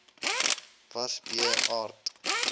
was b aard